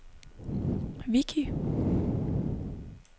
Vichy